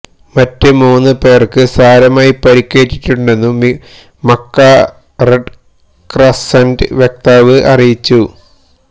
മറ്റ് മൂന്ന് പേര്ക്ക് സാരമായി പരിക്കേറ്റിട്ടുണ്ടെന്നു മക്ക റെഡ് ക്രസന്റ് വക്താവ് അറിയിച്ചു